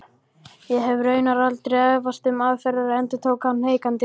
Ég hef raunar aldrei efast um aðferðirnar endurtók hann hikandi.